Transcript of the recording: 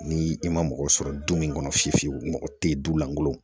Ni i ma mɔgɔ sɔrɔ du min kɔnɔ fiyewu fiyewu mɔgɔ tɛ du lankolo